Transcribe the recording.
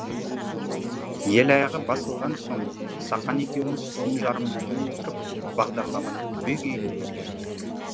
ел аяғы басылған соң сақан екеуміз түн жарымына дейін отырып бағдарламаны түбегейлі өзгерттік